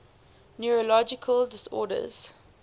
neurological disorders